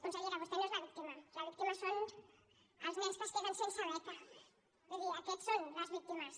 consellera vostè no és la víctima les víctimes són els nens que es queden sense beca vull dir aquests són les víctimes